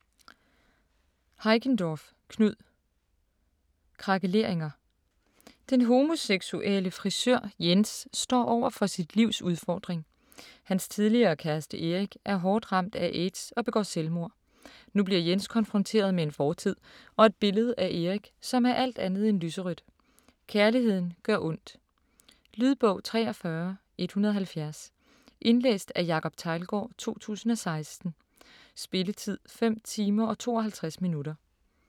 Heickendorff, Knud: Krakeleringer Den homoseksuelle frisør Jens står over for sit livs udfordring: Hans tidligere kæreste Erik er hårdt ramt af AIDS og begår selvmord. Nu bliver Jens konfronteret med en fortid, og et billede af Erik, som er alt andet end lyserødt. Kærligheden gør ondt. Lydbog 43170 Indlæst af Jacob Teglgaard, 2016. Spilletid: 5 timer, 52 minutter.